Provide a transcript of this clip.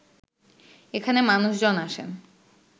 এখানে মানুষজন আসেন